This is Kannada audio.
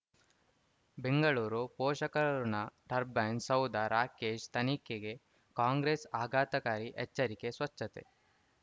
ಬೆಂಗಳೂರು ಪೋಷಕರಋಣ ಟರ್ಬೈನು ಸೌಧ ರಾಕೇಶ್ ತನಿಖೆಗೆ ಕಾಂಗ್ರೆಸ್ ಆಘಾತಕಾರಿ ಎಚ್ಚರಿಕೆ ಸ್ವಚ್ಛತೆ